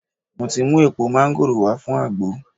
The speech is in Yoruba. Mo ti mu èèpo máńgòrò wá fun àgbo